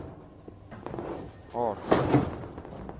artene